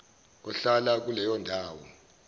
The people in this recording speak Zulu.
ohlala kuleyo ndawo